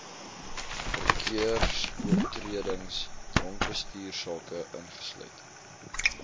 verkeersoortredings dronkbestuursake ingesluit